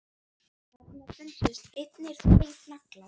Þarna fundust einnig tveir naglar.